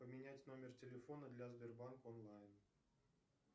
поменять номер телефона для сбербанка онлайн